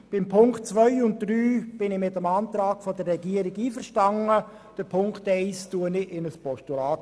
Bei den Ziffern 2 und 3 bin ich mit dem Antrag der Regierung einverstanden, und Ziffer 1 wandle ich in ein Postulat.